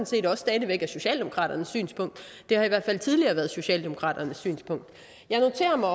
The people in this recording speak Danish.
set også stadig væk er socialdemokraternes synspunkt det har i hvert fald tidligere været socialdemokraternes synspunkt jeg noterer mig